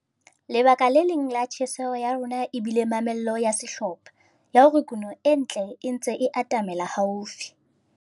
Lebaka le leng la tjheseho ya rona e bile mamello ya sehlopha, ya hore kuno e ntle e ntse e atamela haufi.